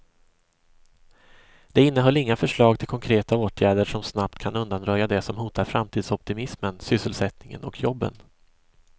Det innehöll inga förslag till konkreta åtgärder som snabbt kan undanröja det som hotar framtidsoptimismen, sysselsättningen och jobben.